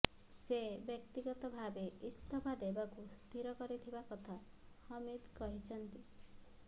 ସେ ବ୍ୟକ୍ତଗତ ଭାବେ ଇସ୍ତଫା ଦେବାକୁ ସ୍ଥିର କରିଥିବା କଥା ହମିଦ କହିଛନ୍ତି